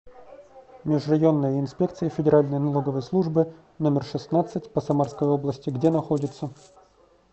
межрайонная инспекция федеральной налоговой службы номер шестнадцать по самарской области где находится